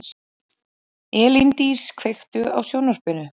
Elíndís, kveiktu á sjónvarpinu.